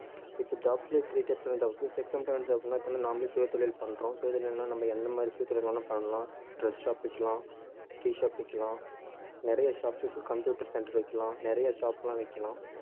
இப்ப jobs லயே three types ஆன jobs இருக்கு அப்படின்னா இப்ப வந்து நாமளே சுயதொழில் பண்றோம், சுயதொழில்ன்னா நம்ம எந்த மாதிரி சுயதொழில் வேணா பண்ணலாம் dress shop வைக்கலாம் tea shop வைக்கலாம் நிறைய shops computer centre வைக்கலாம் நிறைய shop எல்லாம் வைக்கலாம்